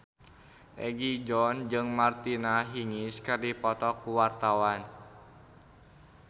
Egi John jeung Martina Hingis keur dipoto ku wartawan